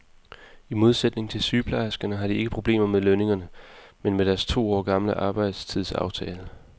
I modsætning til sygeplejerskerne har de ikke problemer med lønningerne, men med deres to år gamle arbejdstidsaftale.